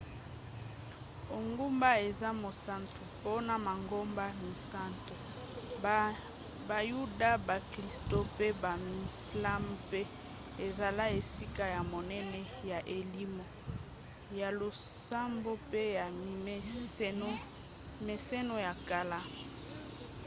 engumba eza mosantu mpona mangomba misato - bayuda baklisto pe bamizlma mpe ezala esika ya monene ya elimo ya losambo mpe ya mimeseno ya kala